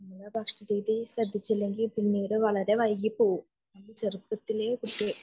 നമ്മുടെ ഭക്ഷണ രീതി ശ്രദ്ധിച്ചില്ലെങ്കിൽ പിന്നീട് വളരെ വൈകി പോകും ചെറുപ്പത്തിലേ കുട്ടിയിലെ